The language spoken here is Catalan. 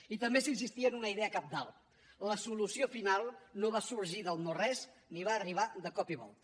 i també s’insistia en una idea cabdal la solució final no va sorgir del no res ni va arribar de cop i volta